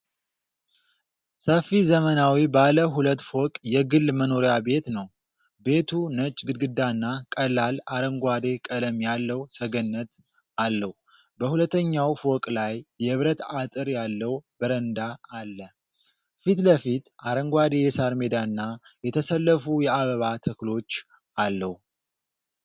ሰፊ ዘመናዊ ባለ ሁለት ፎቅ የግል መኖሪያ ቤት ነው። ቤቱ ነጭ ግድግዳና ቀላል አረንጓዴ ቀለም ያለው ሰገነት አለው። በሁለተኛው ፎቅ ላይ የብረት አጥር ያለው በረንዳ አለ። ፊት ለፊት አረንጓዴ የሣር ሜዳና፣ የተሰለፉ የአበባ ተክሎች አለው።